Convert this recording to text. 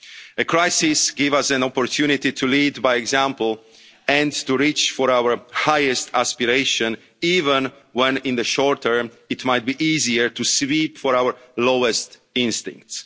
it will come. The crisis gives us an opportunity to lead by example and to reach for our highest aspirations, even when, in the short term, it might be easier to give in to our lowest